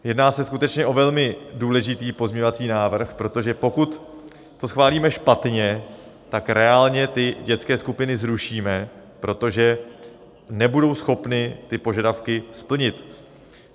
Jedná se skutečně o velmi důležitý pozměňovací návrh, protože pokud to schválíme špatně, tak reálně ty dětské skupiny zrušíme, protože nebudou schopny ty požadavky splnit.